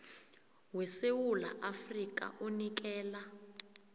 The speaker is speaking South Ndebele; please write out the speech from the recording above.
wesewula afrika unikela